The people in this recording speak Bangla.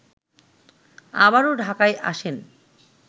আবারো ঢাকায় আসেন